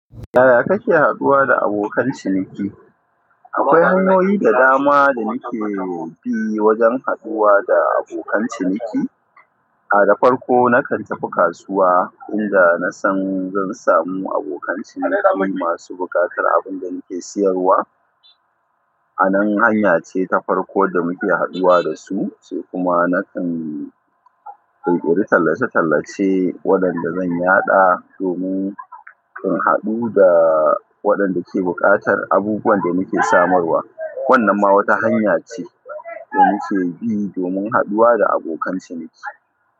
Yaya kake haduwa da abokan ciniki? Akwai hanyoyi da dama da nake bi wajen haɗuwa da abokan ciniki. A da farko na kan tafi kasuwa inda nasan zan samu abokan ciniki masu buƙatar abin da nake siyarwa. A nan hanya ce ta farko da muke haduwa da su, sai kuma na kan ƙirƙiri tallace-tallace waɗanda zan yaɗa domin in haɗu da waɗanda ke buƙatar abubuwan da nake samarwa. Wannan ma wata hanya ce da nake bi domin haɗuwa da abokan ciniki.